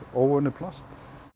óunnið plast